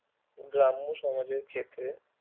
গ্রাম্য সমাজের ক্ষেত্রে